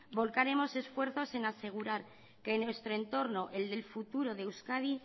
volcaremos esfuerzos en asegurar que nuestro entorno el del futuro de euskadi